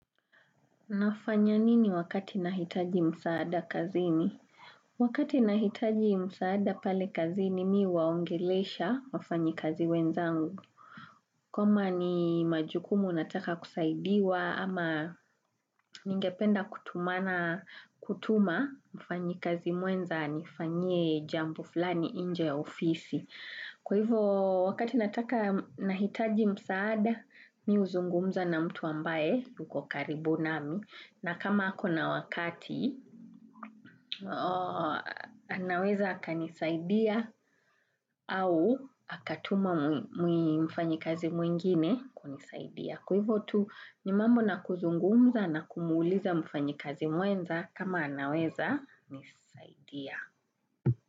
Nafanya nini wakati nahitaji msaada kazini? Wakati nahitaji msaada pale kazini mimi huwaongelesha wafanyi kazi wenzangu. Kama ni majukumu nataka kusaidiwa ama ningependa kutumana kutuma, mfanyi kazi mwenza anifanyie jambo fulani nje ofisi. Kwa hivo wakati nahitaji msaada, mimi huzungumza na mtu ambaye, yuko karibu nami na kama ako na wakati anaweza akanisaidia au akatuma mfanyikazi mwingine kunisaidia. Kwa hivo tu ni mambo na kuzungumza na kumuuliza mfanyikazi mwenza kama anaweza nisaidia.